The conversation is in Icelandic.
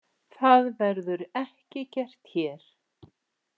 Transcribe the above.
Það verður ekki gert hér.